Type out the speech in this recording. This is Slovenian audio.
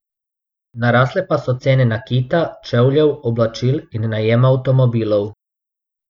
Narasle pa so cene nakita, čevljev, oblačil in najema avtomobilov.